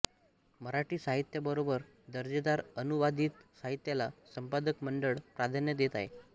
मराठी साहित्याबरोबर दर्जेदार अनुवादित साहित्याला संपादक मंडळ प्राध्यान्य देत आहे